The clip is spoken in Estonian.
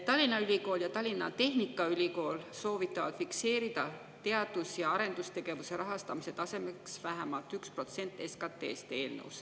Tallinna Ülikool ja Tallinna Tehnikaülikool soovitavad fikseerida eelnõus teadus- ja arendustegevuse rahastamise tasemeks vähemalt 1% SKT-st.